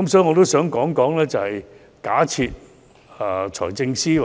我想問局長，假設財政司司長